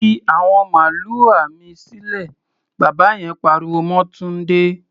Fi àwọn màlúà mi sílẹ̀! Bàbá yen pariwo mọ́ Túndé.